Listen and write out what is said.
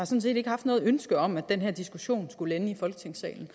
set ikke haft noget ønske om at den her diskussion skulle ende i folketingssalen